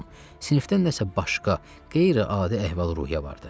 Sinifdən nəsə başqa, qeyri-adi əhval-ruhiyyə vardı.